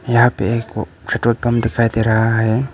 यहां पे एक पेट्रोल पंप दिखाई दे रहा है।